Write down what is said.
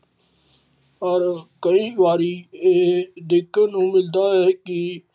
ਪਰ ਕਈ ਵਾਰੀ ਇਹ ਵੇਖਣ ਨੂੰ ਮਿਲਦਾ ਹੈ ਕਿ